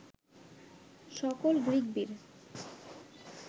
সকল গ্রিকবীর